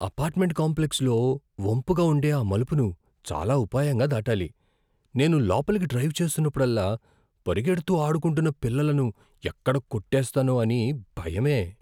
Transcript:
Apartment కాంప్లెక్స్లో వంపుగా ఉండే ఆ మలుపును చాలా ఉపాయంగా దాటాలి. నేను లోపలకి డ్రైవ్ చేస్తున్నప్పుడల్లా పరిగెడుతూ ఆడుకుంటున్న పిల్లలను ఎక్కడ కొట్టేస్తానో అని భయమే!